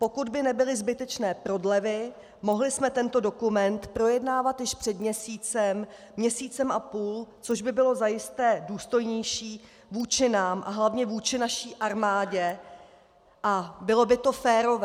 Pokud by nebyly zbytečné prodlevy, mohli jsme tento dokument projednávat již před měsícem, měsícem a půl, což by bylo zajisté důstojnější vůči nám a hlavně vůči naší armádě a bylo by to férové.